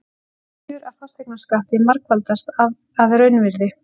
Tekjur af fasteignaskatti margfaldast að raunvirði